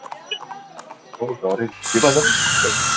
ନା ମୁଁ ଡରେନୀ